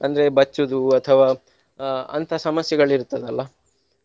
ಅಂದ್ರೆ ಬಚ್ಚುದು ಅಥವಾ ಅಹ್ ಅಂತ ಸಮಸ್ಯೆಗಳು ಇರ್ತದಲ್ಲ.